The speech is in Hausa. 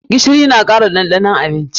Gishiri na kara ɗanɗanon abinci.